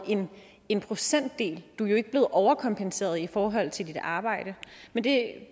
en procentdel du er jo ikke blevet overkompenseret i forhold til dit arbejde